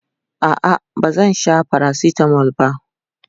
a'a ba zan Sha paracetamol ba